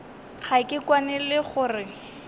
ga ke kwane le gore